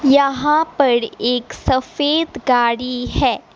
यहां पड़ एक सफेद गाड़ी है।